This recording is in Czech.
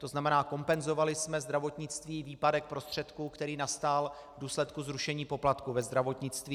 To znamená, kompenzovali jsme zdravotnictví výpadek prostředků, který nastal v důsledku zrušení poplatků ve zdravotnictví.